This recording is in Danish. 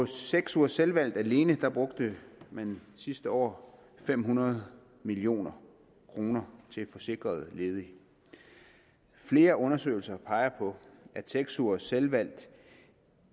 seks ugers selvvalgt alene brugte man sidste år fem hundrede million kroner til forsikrede ledige flere undersøgelser peger på at seks ugers selvvalgt